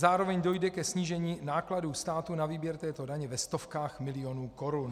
Zároveň dojde ke snížení nákladů státu na výběr této daně ve stovkách milionů korun.